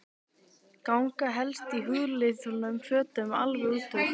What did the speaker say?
Ganga helst í húðlituðum fötum alveg inn úr.